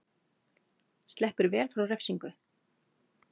Sleppur vel frá refsingu